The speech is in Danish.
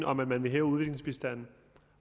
om at man vil hæve udviklingsbistanden